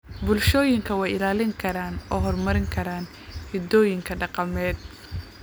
bulshooyinku way ilaalin karaan oo horumarin karaan hidahooda dhaqameed.